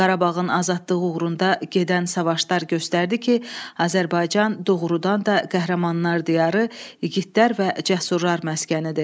Qarabağın azadlığı uğrunda gedən savaşlar göstərdi ki, Azərbaycan doğrudan da qəhrəmanlar diyarı, igidlər və cəsurlar məskənidir.